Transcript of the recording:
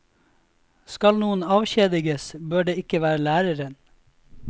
Skal noen avskjediges, bør det ikke være læreren.